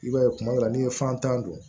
I b'a ye kuma dɔ la n'i ye fantan don